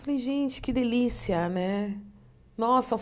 Falei gente que delícia né nossa.